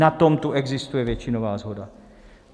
Na tom tu existuje většinová shoda.